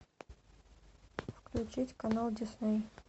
включить канал дисней